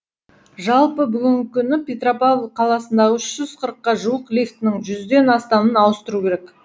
жалпы бүгінгі күні петропавл қаласындағы үш жүз қырыққа жуық лифтінің жүзден астамын ауыстыру керек